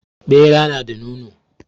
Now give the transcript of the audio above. Ɓera nada nono